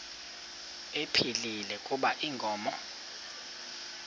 ephilile kuba inkomo